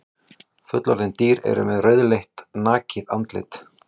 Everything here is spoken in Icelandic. Fullorðin dýr eru með rauðleitt nakið andlit.